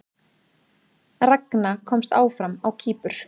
Ragna komst áfram á Kýpur